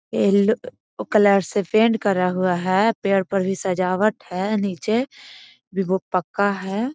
Yellow colour से paint करा हुआ है। पेड़ पर भी सजावट है निचे भी वो पक्का है।